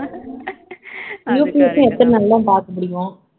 எத்தன நாள் தான் பார்க்க முடியும்